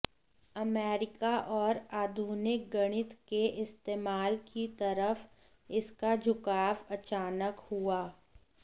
America और आधुनिक गणित के इस्तेमाल की तरफ इसका झुकाव अचानक हुआ